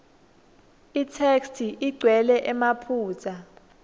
itheksthi igcwele emaphutsa